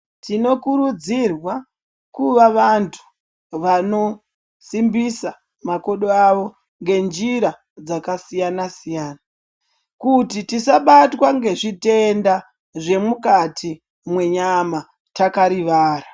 Tinokurudzirwa kuva vantu vanosimbisa makodo avo ngenjira dzakasiyana siyana kuti tisabatwa ngezvitenda zvemukati mwenyama takarivara.